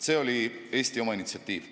See oli Eesti oma initsiatiiv.